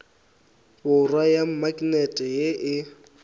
borwa ya maknete ye e